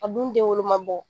A dun denwolo ma bɔ